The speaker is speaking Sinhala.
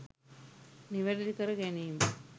නිවැරදි කර ගැනීම